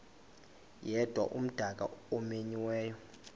yedwa umdaka omenyiweyo